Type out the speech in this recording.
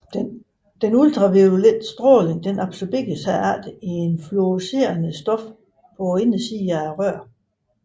Den ultraviolette stråling absorberes herefter i et fluorescerende stof på indersiden af røret